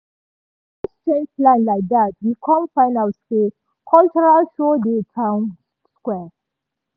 as we just change plan like dat we com find out say cultural show dey town square.